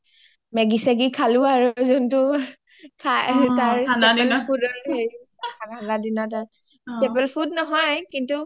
"maggie চাগি খালো আৰু যোনটো তাৰ food only ঠাণ্ডাৰ দিনৰ